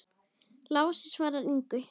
Lási svaraði engu.